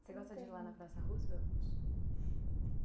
Você gosta de ir lá na Praça Roosevelt?